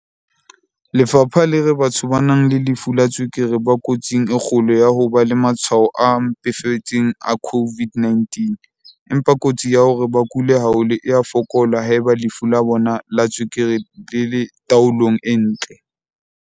Lefapha le re batho ba nang le lefu la tswekere ba kotsing e kgolo ya ho ba le matshwao a mpefetseng a COVID-19, empa kotsi ya hore ba kule haholo e a fokola haeba lefu la bona la tswekere le le tao-long e ntle.